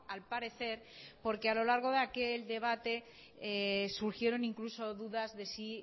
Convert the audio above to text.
al parecer porque a lo largo de aquel debate surgieron incluso dudas de si